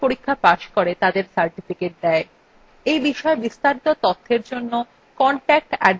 এই বিষয় বিস্তারিত তথ্যের জন্য contact @spokentutorial org তে ইমেল করুন